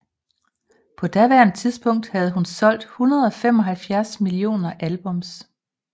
På daværende tidspunkt havde hun solgt 175 millioner albums